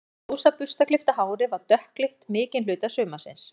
En ljósa burstaklippta hárið var dökkleitt mikinn hluta sumarsins.